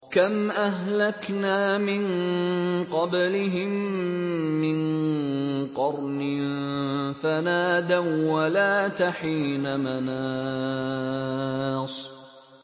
كَمْ أَهْلَكْنَا مِن قَبْلِهِم مِّن قَرْنٍ فَنَادَوا وَّلَاتَ حِينَ مَنَاصٍ